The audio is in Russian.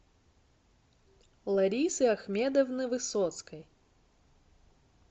ларисы ахмедовны высоцкой